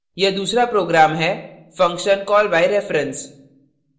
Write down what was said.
यह दूसरा program है function callbyreference